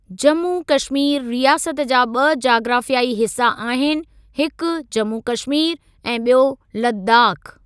जम्मू कश्मीर रियासत जा ॿ जाग्राफ़ियाई हिस्सा आहिनि, हिकु जम्मू कश्मीर ऐं ॿियो लद्दाख़।